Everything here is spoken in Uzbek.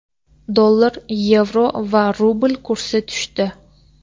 Dollar, yevro va rubl kursi tushdi.